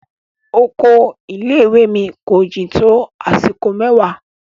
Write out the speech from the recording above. Ọkọ ilé ìwé mi ko jin to àsìkò mẹwa.